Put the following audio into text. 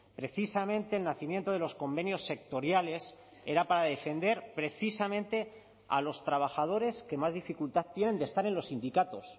precisamente el nacimiento de los convenios sectoriales era para defender precisamente a los trabajadores que más dificultad tienen de estar en los sindicatos